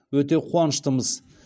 өте қуаныштымыз